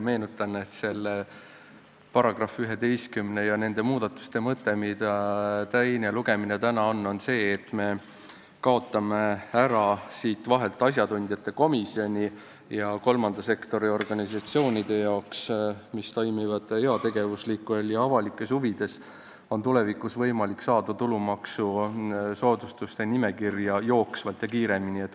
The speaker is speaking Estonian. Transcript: Meenutan, et selle § 11 ja nende muudatuste mõte, mille teine lugemine täna on, on see, et me kaotame siit vahelt ära asjatundjate komisjoni ja kolmanda sektori organisatsioonidel, mis toimivad heategevuslikes ja avalikes huvides, on tulevikus võimalik saada tulumaksusoodustuse nimekirja jooksvalt ja kiiremini.